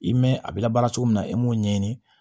I mɛn a bɛ labaara cogo min na e m'o ɲɛɲini